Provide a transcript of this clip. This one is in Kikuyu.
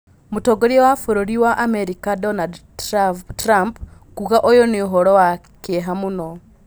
Mũtongoria wa bũrũri wa Amerika Donadi Tirabu kuuga ũyũ nĩ ũhoro wa kĩ eha mũno.